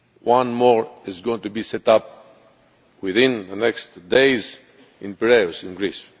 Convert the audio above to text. One more is going to be set up within the next few days in Piraeus in